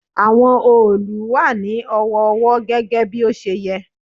Àwọn òòlù wà ní ọ̀wọ̀ọ̀wọ́ gẹ́gẹ́ bí ó ṣe yẹ.